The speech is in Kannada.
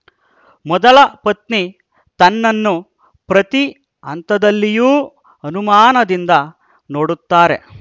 ಮೊದಲ ಪತ್ನಿ ತನ್ನನ್ನು ಪ್ರತಿ ಹಂತದಲ್ಲಿಯೂ ಅನುಮಾನದಿಂದ ನೋಡುತ್ತಾರೆ